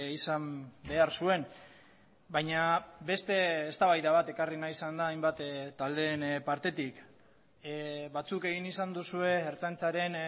izan behar zuen baina beste eztabaida bat ekarri nahi izan da hainbat taldeen partetik batzuk egin izan duzue ertzaintzaren